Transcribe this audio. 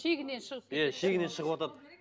шегінен шығып иә шегінен шығыватады